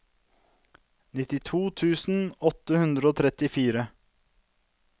nittito tusen åtte hundre og trettifire